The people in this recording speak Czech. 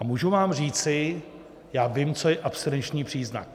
A můžu vám říci, já vím, co je abstinenční příznak.